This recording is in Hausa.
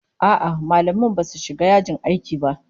A'a, mallaman basu shiga yajin aiki ba